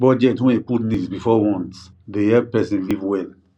budget wey put needs before wants dey help person live well